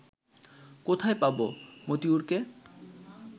কোথায় পাবো মতিয়ুরকে